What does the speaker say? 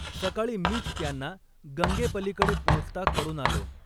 सकाळी मीच त्यांना गंगेपलीकडे पोचता करून आलो.